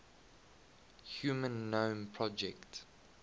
human genome project